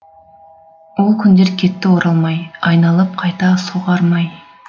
ол күндер кетті оралмай айналып қайта соғар ма ай